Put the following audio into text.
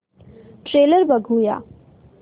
trailer बघूया